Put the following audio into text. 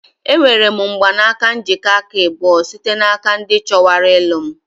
Enwere m mgbanaka njikọ aka abụọ site n'aka ndị chọwara ilu m.